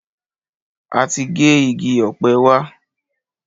A ti gé igi ọ̀pẹ wa.